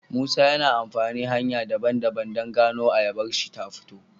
musa yana amafani hanya daban daban dan gonar ayabarshi ta fito